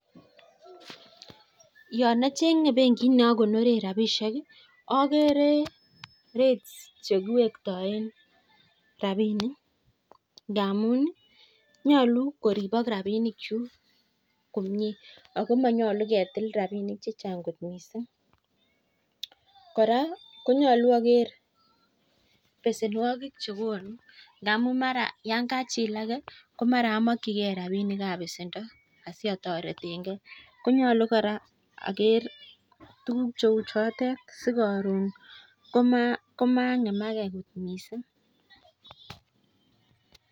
Yan acreage benkit neakonoren rabinik ii okere rate chekiwetoen rabinik ngamun ii nyoluu koribok rabinikchuk komue akomonyolu ketil rabik chechang kot missing kora konyolu aker besenwokik chekonu ingamun mara yan kachilake komara amokyikei rabinik chiton siatoretenkei konyolu kora aker tuguk cheu chotet sikoron komangemake missing.